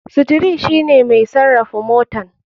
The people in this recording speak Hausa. Steri shine mai sarafa motan.